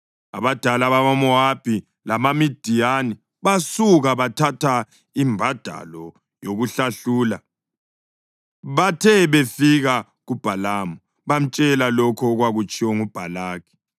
Abadala bamaMowabi labamaMidiyani basuka, bathatha imbadalo yokuhlahlula. Bathe befika kuBhalamu, bamtshela lokho okwatshiwo nguBhalaki.